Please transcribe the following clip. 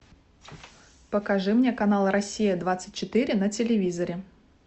покажи мне канал россия двадцать четыре на телевизоре